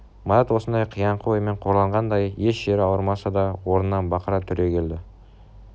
марат осыңдай қияңқы оймен қорланғандай еш жері ауырмаса да орнынан бақыра түрегелді